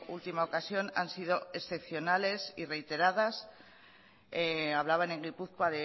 última ocasión han sido excepcionales y reiteradas hablaban en gipuzkoa